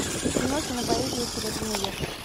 кино кинопоэзия серебряный век